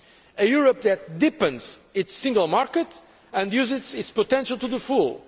a Europe that deepens its single market and uses its potential to the full